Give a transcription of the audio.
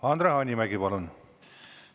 Andre Hanimägi, palun!